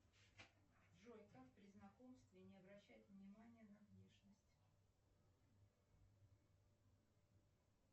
джой как при знакомстве не обращать внимание на внешность